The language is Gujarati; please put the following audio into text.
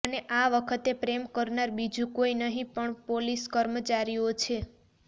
અને આ વખતે પ્રેમ કરનાર બીજુ કોઈ નહીં પણ પોલીસ કર્મચારીઓ છે